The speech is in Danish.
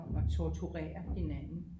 At torturere hinanden